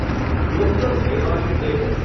Rohtak Rewari DEMU